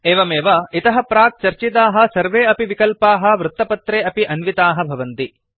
एवमेव इतः प्राक् चर्चिताः सर्वे अपि विकल्पाः वृत्तपत्रे अपि अन्विताः भवन्ति